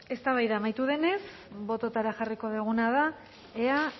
eztabaida amaitu denez bototara jarriko duguna da ea